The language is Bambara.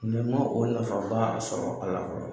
Mɔɛ n ma o nafaba sɔrɔ a la fɔlɔ